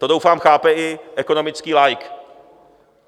To doufám, chápe i ekonomický laik.